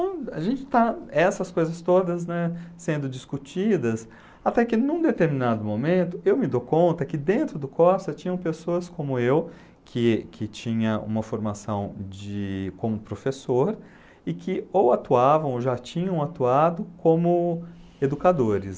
A gente está essas coisas todas, né, sendo discutidas, até que num determinado momento eu me dou conta que dentro do Corsa tinham pessoas como eu, que que tinha uma formação de como professor e que ou atuavam ou já tinham atuado como educadores.